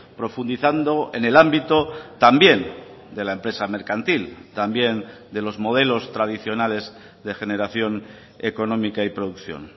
profundizando en el ámbito también de la empresa mercantil también de los modelos tradicionales de generación económica y producción